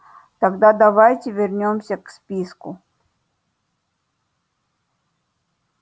тогда давайте вернёмся к списку